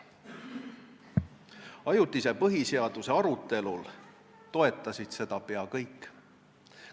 Ajutise põhiseaduse arutelul toetasid seda peaaegu kõik.